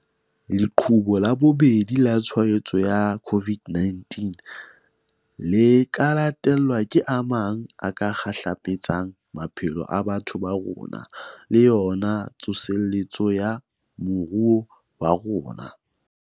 Leqhubu la bobedi la tshwaetso ya COVID-19 le ka latelwa ke a mang a ka kgahlapetsang maphelo a batho ba rona le yona tsoseletso ya moruo wa rona.